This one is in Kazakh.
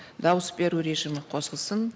дауыс беру режимі қосылсын